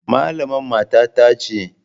Malaman matata ce.